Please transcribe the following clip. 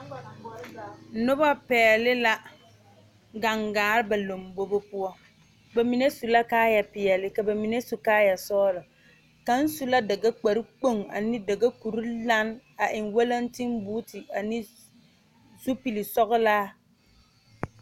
Deɛmo zie la kaa biiri mine su kaayɛ sɔgelɔ ba mine kaayɛ zeere ba mime kaayɛ bonsɔgelɔ ka bɔɔl be be ka teere are kɔge a be ka dire meŋ are kaa biiri paŋ kpɛerɛ